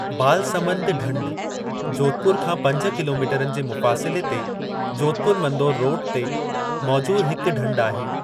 बालसमंद ढंढ जोधपुर खां पंज किलोमीटरनि जे मुफ़ासिले ते जोधपुर-मंदोर रोडु ते मौजूद हिक ढंढ आहे।